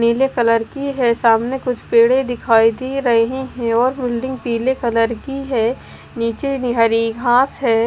नीले कलर की है सामने कुछ पेड़े दिखाई दे रहे हैं और बिल्डिंग पीले कलर की है नीचे में हरी घास है।